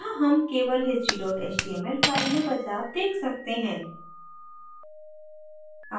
यहाँ हम केवल history html file में बदलाव देख सकते हैं